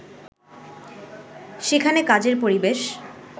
সেখানে কাজের পরিবেশ